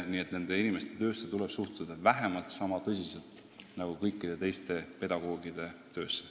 Nii et nende inimeste töösse tuleb suhtuda vähemalt sama tõsiselt nagu kõikide teiste pedagoogide töösse.